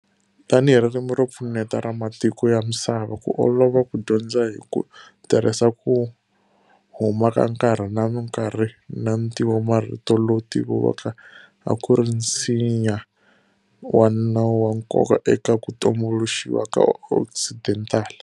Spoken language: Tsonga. Tanihi ririmi ro pfuneta ra matiko ya misava, ku olova ku dyondza hi ku tirhisa ku huma ka nkarhi na nkarhi na ntivomarito lowu tiviwaka a ku ri nsinya wa nawu wa nkoka eka ku tumbuluxiwa ka Occidental.